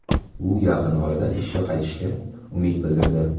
U yaqin orada ishga qaytishiga umid bildirdi.